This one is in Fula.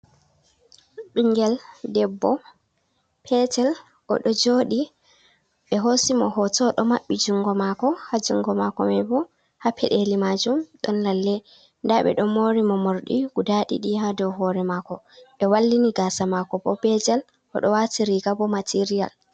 Ɓinngel debbo petel o ɗo jooɗi, ɓe hoosi mo hooto o ɗo maɓɓi junngo maako. Haa junngo maako may bo, haa peɗeli maajum ɗon lalle. Ndaa ɓe ɗo moori mo moorɗi guda ɗiɗi haa dow hoore maako, ɓe wallini gaasa maako bo be jal .O ɗo waati riiga bo materiyal.